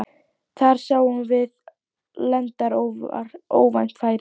Þar sáum við landar óvænt færi.